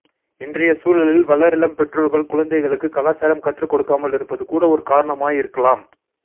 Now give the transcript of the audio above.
இன்றைய சூழலில் வளரிளம் பெற்றோர்கள் குழந்தைகளுக்கு கலாச்சாரம் கற்றுக்கொடுக்காமலிருப்பது கூட ஓர் காரணமாயிருக்கலாம்